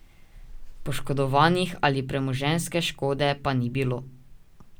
Poškodovanih ali premoženjske škode pa ni bilo.